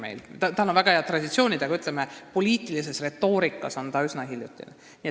Alusharidusel on väga head traditsioonid, aga poliitilises retoorikas on see üsna hiljutine teema.